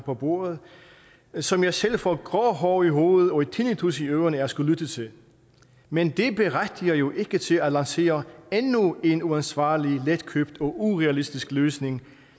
på bordet som jeg selv får grå hår i hovedet og tinnitus i ørerne af at skulle lytte til men det berettiger jo ikke til at lancere endnu en uansvarlig letkøbt og urealistisk løsning